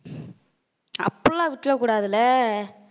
அப்படி எல்லாம் விட்டுற கூடாது இல்ல